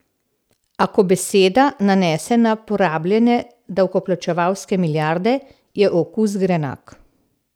A, ko beseda nanese na porabljene davkoplačevalske milijarde, je okus grenak.